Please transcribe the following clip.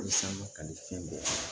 Walasa ka nin fɛn bɛɛ kɛ